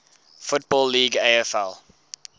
football league afl